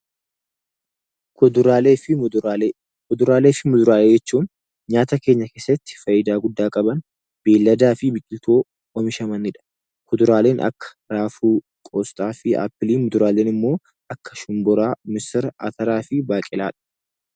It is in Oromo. Kuduraalee fi muduraalee Kuduraalee fi muduraalee jechuun nyaata keenya keessatti fayidaa guddaa qaban beeyiladaa fi biqiltuu oomishamaniidha. Kuduraaleen akka raafuu, qoosxaa fi aappilii muduraaleen immoo akka shumburaa, misira, ataraa fi baaqelaadha.